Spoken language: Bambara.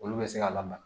Olu bɛ se ka lamaga